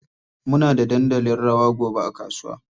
Muna da dandalin rawa gobe a kasuwa.